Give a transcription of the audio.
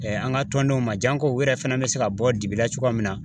Ɛɛ an ga tɔndenw ma jan ko u yɛrɛ fɛnɛ be se ka bɔ dibi la cogoya min na